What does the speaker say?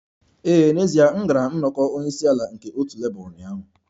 Ee, n'ezie m gara nnọkọ onye isi ala nke otu Labour ụnyaahụ